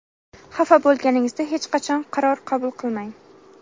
Xafa bo‘lganingizda hech qachon qaror qabul qilmang.